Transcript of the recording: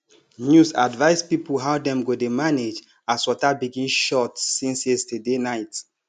news advise people how dem go dey manage as water begin short since yesterday night